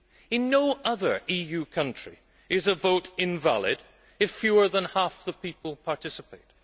In no other EU country is a vote invalid if fewer than half the people participate.